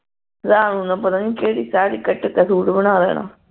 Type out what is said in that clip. ਰਾਤ ਨੂੰ ਉਨ੍ਹਾਂ ਪਤਾ ਨੀ ਕਿਹੜੀ ਸਾੜੀ ਕੱਟ ਕੇ ਸੂਟ ਬਣਾ ਦੇਣਾ